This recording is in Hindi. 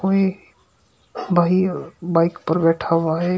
वे भाई बाइक पर बैठा हुआ है।